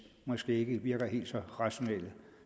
ikke virker helt så rationelle